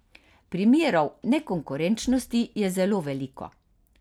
Primerov nekonkurenčnosti je zelo veliko.